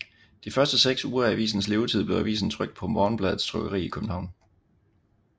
De første seks uger af avisens levetid blev avisen trykt på Morgenbladets trykkeri i København